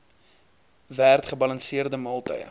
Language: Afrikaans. werd gebalanseerde maaltye